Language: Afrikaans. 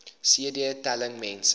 cd telling mense